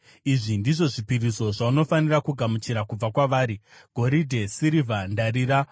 “Izvi ndizvo zvipiriso zvaunofanira kugamuchira kubva kwavari: “goridhe, sirivha, ndarira;